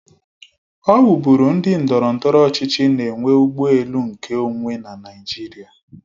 Ọ wu bụrụ ndị ndọrọndọrọ ọchịchị na enwe ụgbọ elu nkeonwe na Naịjirịa.